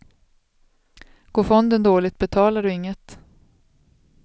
Går fonden dåligt betalar du inget.